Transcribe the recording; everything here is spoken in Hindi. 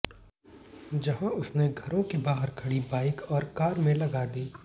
जहां उसने घरों के बाहर खड़ी बाइक और कार में लगा दी